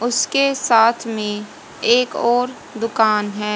उसके साथ में एक और दुकान है।